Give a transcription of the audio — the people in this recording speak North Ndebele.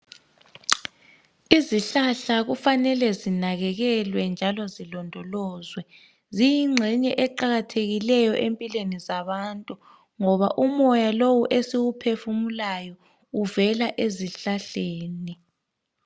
Izihlahla kufanele zinakekelwe njalo zilondolozwe. Ziyingxenye eqakathekileyo empilweni zabantu, ngoba umoya lowu esiwuphefumulayo, uvela ezihlahleni.